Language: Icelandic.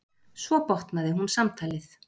Svo botnaði hún samtalið.